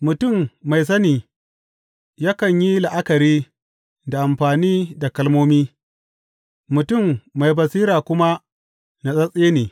Mutum mai sani yakan yi la’akari da amfani da kalmomi, mutum mai basira kuma natsattse ne.